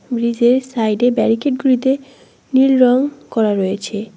ব্রিজের সাইডে ব্যারিকেট গুলিতে নীল রং করা রয়েছে।